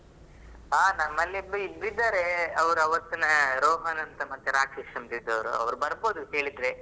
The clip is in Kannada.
ಹಾ ನಮ್ಮಲ್ಲಿ ಇಬ್ರ ಇದ್ದಾರೆ ಅವ್ರ್ ಆವ್ತಹ್ನ ರೋಹನ್ ಅಂತ ಮತ್ತೆ ರಾಕೇಶ ಅಂತೀದೊರೊ ಅವ್ರು ಬರಬಹುದು ಹೇಳಿದ್ರೆ.